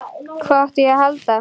Hvað átti ég að halda?